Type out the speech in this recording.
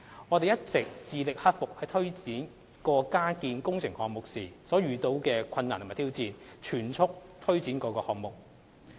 我們一直致力克服在推展各個加建工程項目時遇到的困難及挑戰，全速推展各項目。